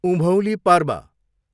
उभौँली पर्व